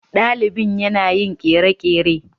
Dalibin yana yin kere-kere.